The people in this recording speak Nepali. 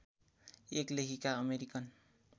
एक लेखिका अमेरिकन